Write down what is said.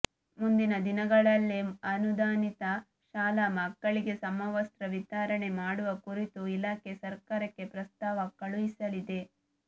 ಮುಂದಿನ ದಿನಗಳಲ್ಲಿ ಅನುದಾನಿತ ಶಾಲಾ ಮಕ್ಕಳಿಗೆ ಸಮವಸ್ತ್ರ ವಿತರಣೆ ಮಾಡುವ ಕುರಿತು ಇಲಾಖೆ ಸರ್ಕಾರಕ್ಕೆ ಪ್ರಸ್ತಾವ ಕಳುಹಿಸಲಿದೆ